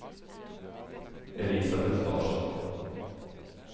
Elisabet Larsson